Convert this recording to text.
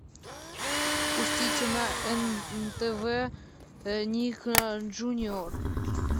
пустите на нтв ник джуниор